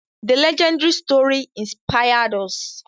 The legendary story inspired us.